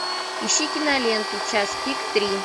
ищи киноленту час пик три